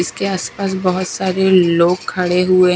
इसके आसपास बहुत सारे लोग खड़े हुए--